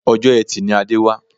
Ọjọ́ etì ni Adé wá